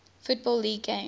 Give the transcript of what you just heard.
football league games